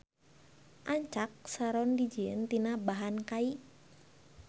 Ancak saron dijieun tina bahan kai.